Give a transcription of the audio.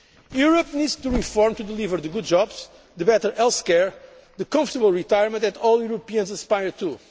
Europe needs to reform to deliver the good jobs, the better healthcare and the comfortable retirement that all Europeans aspire